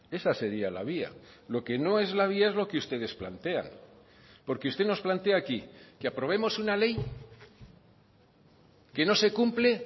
esa sería la vía lo que no es la vía es lo que ustedes plantean porque usted nos plantea aquí que aprobemos una ley que no se cumple